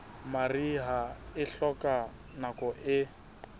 mariha e hloka nako e